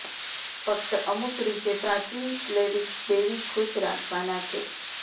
ફક્ત અમુક રીતે પ્રાચીન સ્લેવિક દેવી ખુશ રાખવાના છે